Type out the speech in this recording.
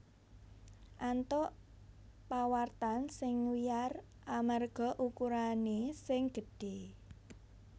antuk pawartan sing wiyar amarga ukurané sing gedhé